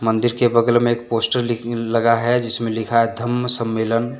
मंदिर के बगल में एक पोस्टर लगा है जिसमे लिखा है धम्म सम्मेलन--